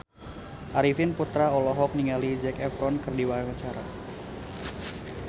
Arifin Putra olohok ningali Zac Efron keur diwawancara